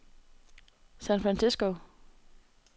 San Francisco